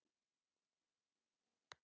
Tók það ekki langan tíma?